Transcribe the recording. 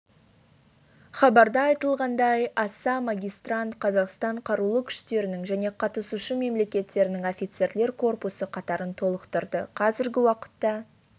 хабарда айтылғандай аса магистрант қазақстан қарулы күштерінің және қатысушы мемлекеттерінің офицерлер корпусы қатарын толықтырды қазіргі уақытта